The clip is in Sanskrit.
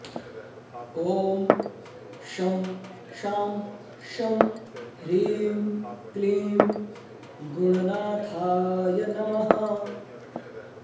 ॐ शं शां षं ह्रीं क्लीं गुणनाथाय नमः